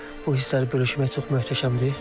Bu hissləri bölüşmək çox möhtəşəmdir.